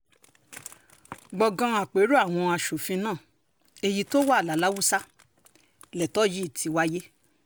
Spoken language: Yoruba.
gbọ̀ngàn àpérò àwọn aṣòfin náà èyí tó wà laláùsà lẹ́tọ́ yìí ti wáyé